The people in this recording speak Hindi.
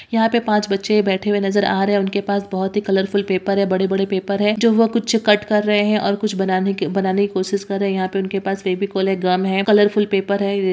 यहाँ पे पांच बच्चे बैठे हुए नजर आ रहें हैं। उनके पास बहुत ही कलरफुल पेपर है बड़े-बड़े पेपर है जो वह कुछ कट कर रहें हैं और कुछ बनाने बनाने की कोशिश कर रहें हैं। यहाँ पे उनके पास फेविकोल है गम है कलरफुल पेपर है।